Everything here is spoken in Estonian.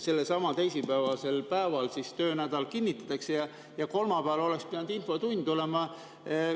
Sellelsamal teisipäevasel päeval töönädal kinnitatakse ja kolmapäeval oleks pidanud infotund olema.